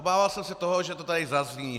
Obával jsem se toho, že to tady zazní.